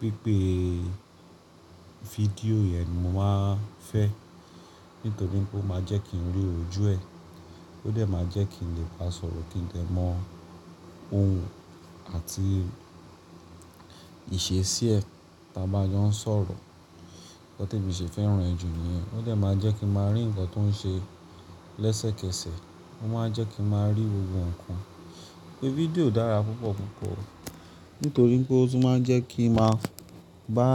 pípe video yẹn ni mo máa fẹ́. Nítorí pé ó máa jẹ́ kí n rí ojú ẹ. Ó de máa jẹ́ kí n lè bá a sọ̀rọ̀ kí n de mọ ohun àti ìṣesí ẹ tí a bá ń jọ́ n sọ̀rọ̀. Nkan tí emi se fẹ́ràn ẹ̀ jù níyen. Ó de máa jẹ́ kí n máa rí ǹkan tó ń ṣe lẹ́sẹ̀kẹsẹ̀. Ó máa ń jẹ́ kí n máa rí gbogbo ǹkan. Ìpè fídíò dára púpọ̀ púpọ̀. Nítorí pé ó tún máa ń jẹ́ kí n máa bá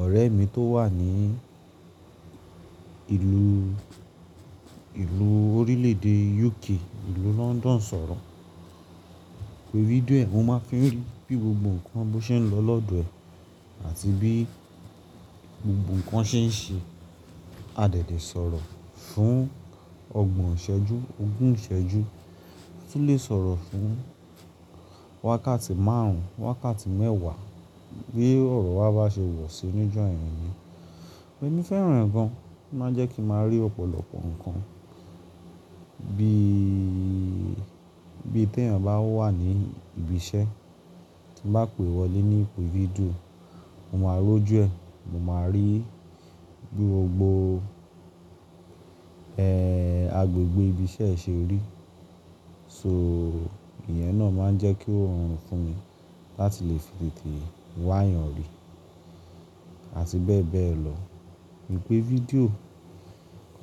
ọ̀rẹ́ mi tó wà ní ìlú, ìlú orílẹ̀ èdè UK, ìlú London sọ̀rọ̀. Ìpè video ẹ, mo máa fi ń rí bí gbogbo ǹkan bo ṣe ń lọ lọ́dọ̀ ẹ àti bí gbogbo ǹkan ṣe ń ṣe. A de lè tètè sọ̀rọ̀ fún ọgbọ̀n ìṣẹ́jú, ogún ìṣẹ́jú. A tún lè sọ̀rọ̀ fún wákàtí márùn, wákàtí mẹ́wà bí ọ̀rọ̀ wa bá ṣe wọ̀sì níjo yen ni Ẹ̀mí fẹ́ràn ẹ̀ gan. Ó máa ń jẹ́ kí n máa rí ọ̀pọ̀lọpọ̀ ǹkan bí, bí tèyàn bá wà ní ibi iṣẹ́ tí bá pe wọlé ní ìpè video, mo máa rojú ẹ. Mo máa rí bí gbogbo, ẹ́, agbègbè ibi iṣẹ́ ẹ ṣe rí. So ìyẹn náà máa ń jẹ́ kí ó rọrùn fún mi láti lè fi tètè wá yàn rí. Àti bẹ́ẹ̀ bẹ́ẹ̀ lọ. Ìpè video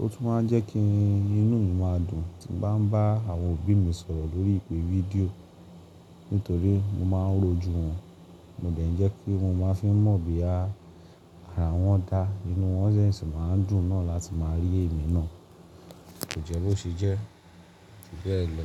ó tún máa ń jẹ́ kí inú mi máa dùn tí ń bá àwọn òbí mi sọ̀rọ̀ lórí ìpè video. Nítorí mo máa ń roju wọn. Mo dẹ́ẹ̀ ń jẹ́ kí mo máa n fi mọ̀ bí ara wọn dá. Inú wọn ṣé sì máa ń dùn náà láti máa rí èmi náà. Ko jẹ́ bo ṣe jẹ́? Ju bẹ lọ.